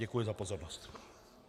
Děkuji za pozornost.